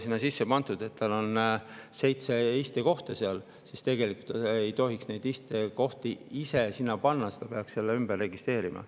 Kui passi ei ole pandud, et selles on seitse istekohta, siis tegelikult ei tohiks neid istekohti ise sinna juurde panna või siis peaks selle ümber registreerima.